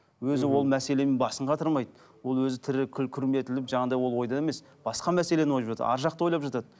өзі ол мәселемен басын қатырмайды ол өзі тірі күрметіліп жаңағыдай ол ойда емес басқа мәселені ойлап жатады арғы жақты ойлап жатады